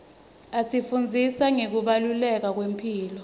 asifundzisa ngekubaluleka kwemphilo